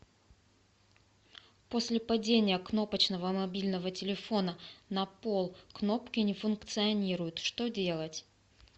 после падения кнопочного мобильного телефона на пол кнопки не функционируют что делать